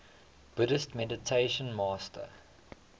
buddhist meditation master